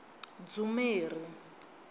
dzumeri